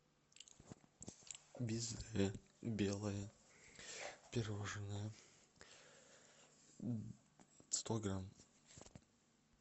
безе белое пирожное сто грамм